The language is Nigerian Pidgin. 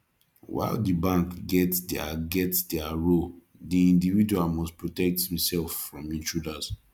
while di bank get their get their role di individual must protect im self from intruders